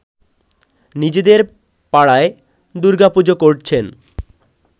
নিজেদের পাড়ায় দূর্গাপুজো করছেন